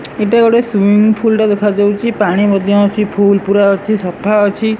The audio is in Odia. ଏଇଟା ଗୋଟେ ସୁଇମିଙ୍ଗ୍ ଫୁଲ୍ ଟା ଦେଖାଯାଉଚି ପାଣି ମଧ୍ୟ ଅଛି ଫୁଲ୍ ପୁରା ଅଛି ସଫାଅଛି।